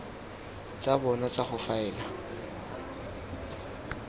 tsa bona tsa go faela